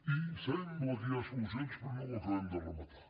i sembla que hi ha solucions però no ho acabem de rematar